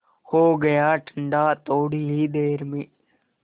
हो गया ठंडा थोडी ही देर में